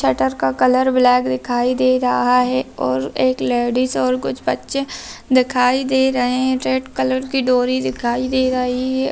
shutter का colour black दिखाई दे रहा है और एक लेडीज और कुछ बच्चे दिखाई दे रहे हैं रेड कलर की डोरी दिखाई दे रही --